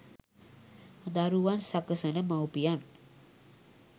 දරුවන් සකසන මව්පියන්